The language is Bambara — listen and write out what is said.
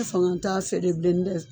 fanga t'a fɛ